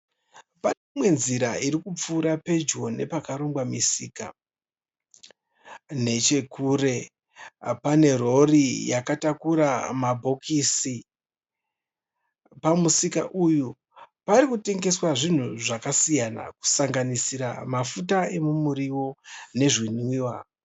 Pane imwe nziri iri kupfuura pedyo nepakarongwa misika. Nechekure pane rori yakatakura mabhokisi. Pamusika uyu parikutengeswa zvinhu zvakasiyana kusanganisira mafuta emuriwo nezvinwiwa.